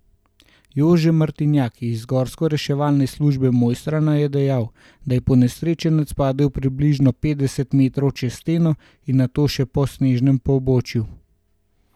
Jože Martinjak iz Gorsko reševalne službe Mojstrana je dejal, da je ponesrečenec padel približno petdeset metrov čez steno in nato še po snežnem pobočju.